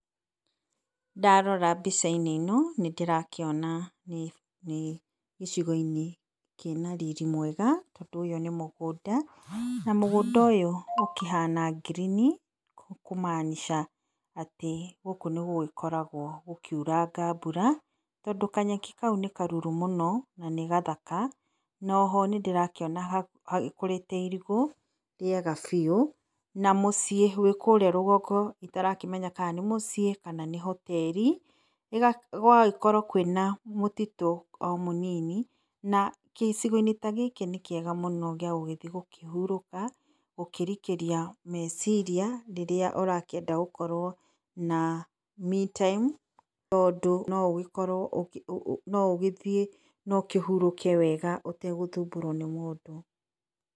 Ndarora mbica-inĩ ino nĩndĩrakĩona nĩ nĩgĩcigo- inĩ kĩna riri mwega tondũ ũyũ nĩ mũgũnda. Na mũgũnda ũyũ ũkĩhana ngirini nĩ kũmaanisha atĩ gũkũ nĩgũgĩkoragwo gũkiuranga mbura tondũ, kanyeki kau nĩ karuru mũno na nĩ gathaka no oho nĩndĩrakĩona gũkũrĩte irigũ rĩega biũ na mũciĩ wĩkũrĩa rũgongo itarakĩmenya kana nĩ mũciĩ kana nĩ hoteri. Gũgagĩkorwo kwĩna mũtitũ o mũnini na gĩcigo-inĩ ta gĩkĩ nĩkĩega mũno gĩagũthiĩ gũkĩhurũka gũkĩrikĩria meciria rĩrĩa ũrakĩenda gũkorwo na me time tondũ noũgĩkorwo, noũgĩthiĩ ũkĩhurũke wega ũtegũthumbũrwo nĩ mũndũ.